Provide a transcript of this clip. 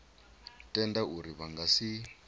tenda uri vha nga si